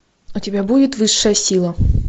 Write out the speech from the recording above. у тебя будет высшая сила